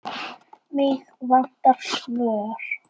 Mig vantar svör.